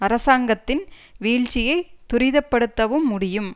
அரசாங்கத்தின் வீழ்ச்சியை துரிதப்படுத்தவும் முடியும்